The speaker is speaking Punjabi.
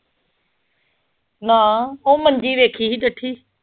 ਨਾ ਉਹ ਮੰਜੀ ਵੇਖੀ ਸੀ ਡਿੱਠੀ।